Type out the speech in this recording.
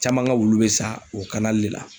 Caman ka wulu bɛ sa, o de la.